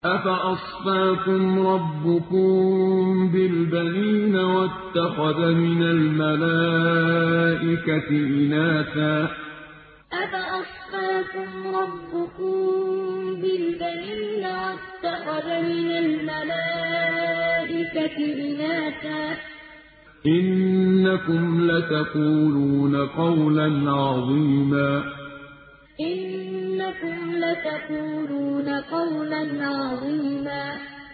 أَفَأَصْفَاكُمْ رَبُّكُم بِالْبَنِينَ وَاتَّخَذَ مِنَ الْمَلَائِكَةِ إِنَاثًا ۚ إِنَّكُمْ لَتَقُولُونَ قَوْلًا عَظِيمًا أَفَأَصْفَاكُمْ رَبُّكُم بِالْبَنِينَ وَاتَّخَذَ مِنَ الْمَلَائِكَةِ إِنَاثًا ۚ إِنَّكُمْ لَتَقُولُونَ قَوْلًا عَظِيمًا